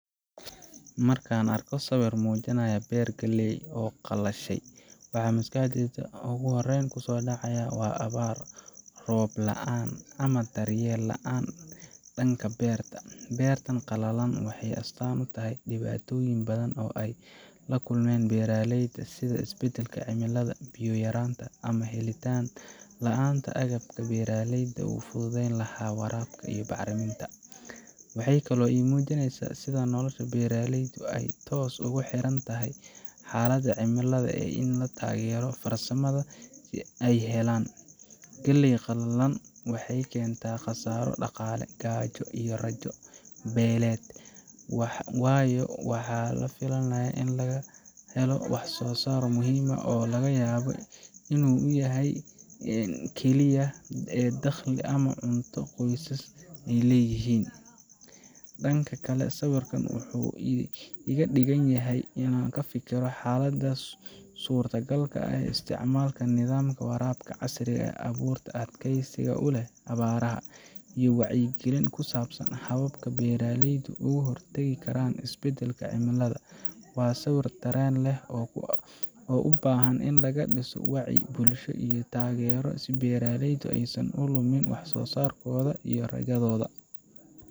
Markaan arko sawir muujinaya beer galley ah oo qalashay, waxa maskaxdayda ugu horrayn kusoo dhacaya waa abaar, roob la’aan ama daryeel la’aan dhanka beerta ah. Beertan qalalan waxay astaan u tahay dhibaatooyin badan oo ay la kulmaan beeraleyda sida isbeddelka cimilada, biyo yaraanta, ama helitaan la’aanta agabka beeralayda u fududayn lahaa waraabka iyo bacriminta. Waxay kaloo ii muujinaysaa sida nolosha beeraleyda ay toos ah ugu xiran tahay xaaladda cimilada iyo taageerada farsamada ee ay helaan. Galley qalalan waxay keentaa khasaaro dhaqaale, gaajo, iyo rajo beelid, waayo waxa la filayay in laga helo wax-soo-saar muhiim ah oo laga yaabo inuu yahay isha keliya ee dakhli ama cunto ee qoyskaasi leeyihin. Dhinaca kale, sawirkan wuxuu iga dhigaa inaan ka fikiro xalalka suuragalka ah sida isticmaalka nidaamka waraabka casriga ah, abuurta adkaysiga u leh abaaraha, iyo wacyigelin ku saabsan hababka beeraleydu uga hortagi karaan isbeddelka cimilada. Waa sawir dareen leh oo u baahan in laga dhiso wacyi bulsho iyo taageero si beeraleydu aysan u lumin wax-soo-saarkooda iyo rajadooda.